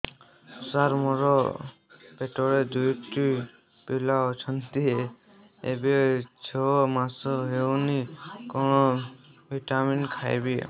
ସାର ମୋର ପେଟରେ ଦୁଇଟି ପିଲା ଅଛନ୍ତି ଏବେ ଛଅ ମାସ ହେଇଛି କଣ ଭିଟାମିନ ଖାଇବି